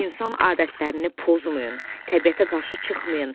İnsan adətlərini pozmayın, təbiətə qarşı çıxmayın.